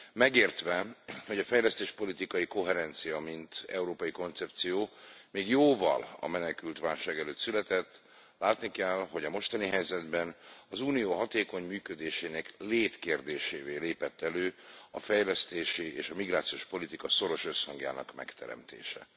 Megértve, hogy a fejlesztéspolitikai koherencia mint európai koncepció még jóval a menekültválság előtt született, látni kell, hogy a mostani helyzetben az Unió hatékony működésének létkérdésévé lépett elő a fejlesztési és a migrációs politika szoros összhangjának megteremtése.